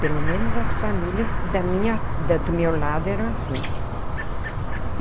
Pelo menos as famílias da minha da do meu lado eram assim.